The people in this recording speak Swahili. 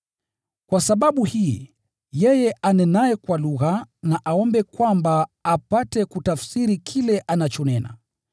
Kwa sababu hii, yeye anenaye kwa lugha na aombe kwamba apate kutafsiri kile anachonena.